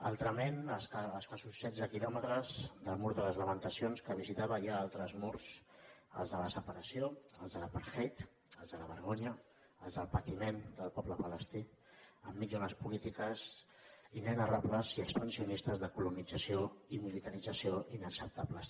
altrament a escassos setze quilòmetres del mur de les lamentacions que visitava hi ha altres murs els de la separació els de l’apartheid els de la vergonya els del patiment del poble palestí enmig d’unes polítiques inenarrables i expansionistes de colonització i militarització inacceptables